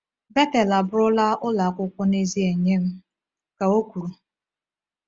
“Bethel abụrụla ụlọ akwụkwọ n’ezie nye m,” ka o kwuru.